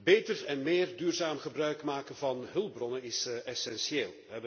Beter en meer duurzaam gebruik maken van hulpbronnen is essentieel.